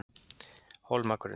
Hólmagrund